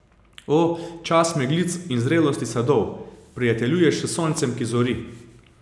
O, čas meglic in zrelosti sadov, prijateljuješ s soncem, ki zori.